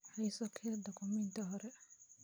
Hayso kayd dukumeenti hore